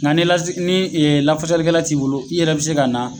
Nga ni lase ni e lafasalikɛla t'i bolo i yɛrɛ be se ka na